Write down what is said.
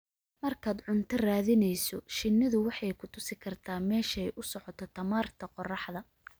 Markaad cunto raadinayso, shinnidu waxay ku tusi kartaa meesha ay u socoto tamarta qorraxda.